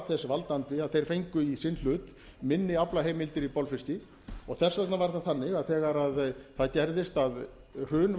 þess valdandi að þeir fengu í sinn hlut minni aflaheimildir í bolfiski og þess vegna var það þannig að þegar það gerðist að hrun